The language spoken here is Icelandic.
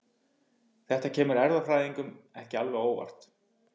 Þetta kemur erfðafræðingum ekki alveg á óvart.